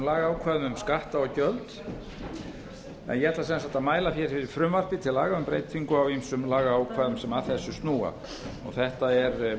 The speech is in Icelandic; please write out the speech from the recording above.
lagaákvæðum um skatta og gjöld ég ætla sem sagt að mæla hér fyrir frumvarpi til laga um breyting á ýmsum lagaákvæðum sem að þessu snúa þetta er